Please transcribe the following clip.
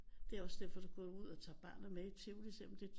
Det er også derfor du går ud og tager barnet med i Tivoli selvom det